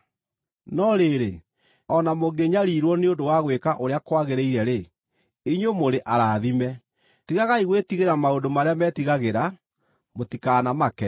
No rĩrĩ, o na mũngĩnyariirwo nĩ ũndũ wa gwĩka ũrĩa kwagĩrĩire-rĩ, inyuĩ mũrĩ arathime. “Tigagai gwĩtigĩra maũndũ marĩa metigagĩra; mũtikanamake.”